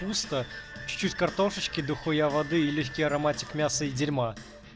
чуть-чуть картошки дахуя воды и листья ароматик мясо игирма